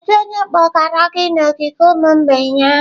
Kedu onye kpọgara gị n'ogige ụmụ mgbei ahụ?